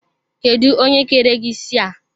Kedụ onye kere gị isi a?